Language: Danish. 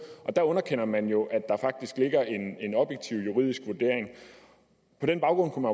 og der underkender man jo at der faktisk ligger en en objektiv juridisk vurdering på den baggrund kunne